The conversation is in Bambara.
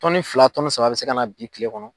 fila saba bi se ka na bi kile kɔnɔ.